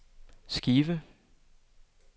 skive